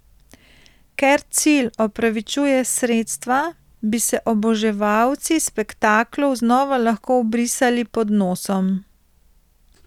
Ker cilj opravičuje sredstva, bi se oboževalci spektaklov znova lahko obrisali pod nosom.